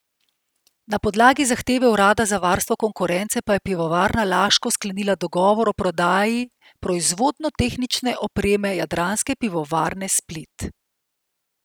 Na podlagi zahteve urada za varstvo konkurence pa je Pivovarna Laško sklenila dogovor o prodaji proizvodno tehnične opreme Jadranske pivovarne Split.